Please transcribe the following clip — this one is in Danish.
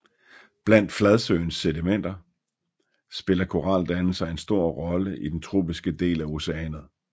Blandt fladsøens sedimenter spiller koraldannelser en stor rolle i den tropiske del af oceanet